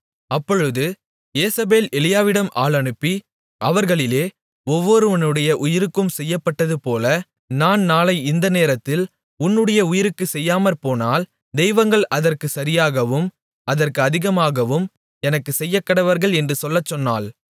அப்பொழுது யேசபேல் எலியாவிடம் ஆள் அனுப்பி அவர்களிலே ஒவ்வொருவனுடைய உயிருக்கும் செய்யப்பட்டதுபோல நான் நாளை இந்த நேரத்தில் உன்னுடைய உயிருக்குச் செய்யாமற்போனால் தெய்வங்கள் அதற்குச் சரியாகவும் அதற்கு அதிகமாகவும் எனக்குச் செய்யக்கடவர்கள் என்று சொல்லச் சொன்னாள்